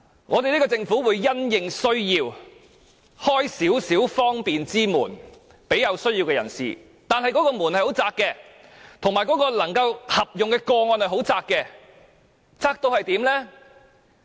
我們政府會因應需要，為這些有需要的人打開方便之門，但那道門很狹窄，合用的個案也很狹窄，狹窄得卑微。